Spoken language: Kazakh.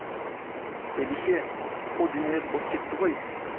бәйбіше о дүниелік боп кетті ғой